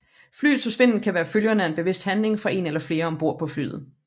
Flyets forsvinden kan være følgerne af en bevidst handling fra en eller flere ombord på flyet